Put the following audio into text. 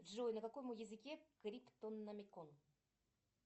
джой на каком языке криптономикон